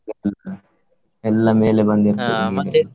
ಹ್ಮ್ ಹ್ಮ್ ಎಲ್ಲಾ ಮೇಲೆ ಬಂದಿರ್ತದೆ ಈಗ.